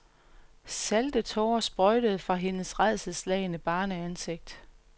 Salte tårer sprøjtede fra hendes rædselsslagne barneansigt.